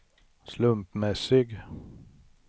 slumpmässig